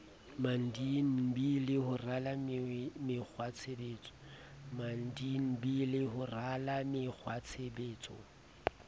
mdnb le ho rala mekgwatshebetso